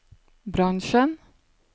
bransjen